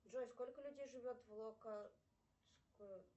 джой сколько людей живетв локо